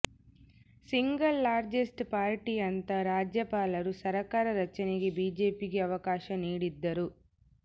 single largest party ಅಂತ ರಾಜ್ಯಪಾಲರು ಸರ್ಕಾರ ರಚನೆಗೆ ಬಿಜೆಪಿಗೆ ಅವಕಾಶ ನೀಡಿದ್ದರು